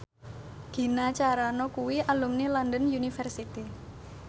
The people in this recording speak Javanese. Gina Carano kuwi alumni London University